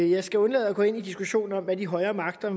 jeg skal undlade at gå ind i diskussionen om hvad de højere magter